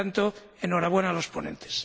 Por tanto, enhorabuena a los ponentes.